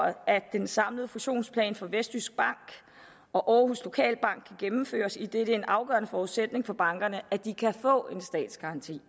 at den samlede fusionsplan for vestjysk bank og aarhus lokalbank kan gennemføres idet det er en afgørende forudsætning for bankerne at de kan få en statsgaranti